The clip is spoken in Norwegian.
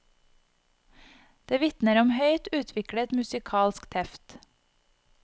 Det vitner om høyt utviklet musikalsk teft.